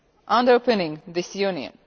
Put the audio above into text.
underpinning this Union.